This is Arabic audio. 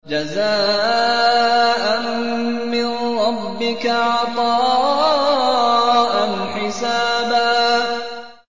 جَزَاءً مِّن رَّبِّكَ عَطَاءً حِسَابًا